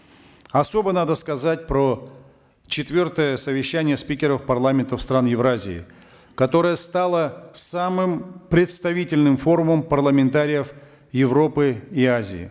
особо надо сказать про четвертое совещание спикеров парламентов стран евразии которое стало самым представительным форумом парламентариев европы и азии